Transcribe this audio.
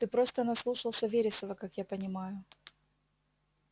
ты просто наслушался вересова как я понимаю